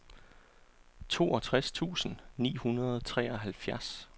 toogtres tusind ni hundrede og treoghalvfjerds